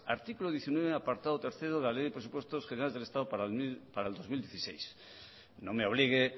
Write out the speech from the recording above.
artículo diecinueve apartado tercero de la ley de presupuestos generales del estado para el dos mil dieciséis no me obligue